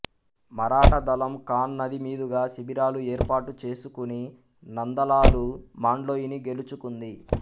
మరాఠా దళం ఖాన్ నది మీదుగా శిబిరాలు ఏర్పాటు చేసుకుని నందలాలు మాండ్లోయిని గెలుచుకుంది